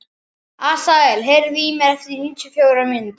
Asael, heyrðu í mér eftir níutíu og fjórar mínútur.